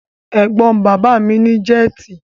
Ẹ̀gbọ́n bàbá mi ní jẹ́tì.